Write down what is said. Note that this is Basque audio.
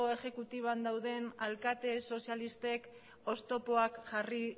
exekutiban dauden alkate sozialistek oztopoak jarri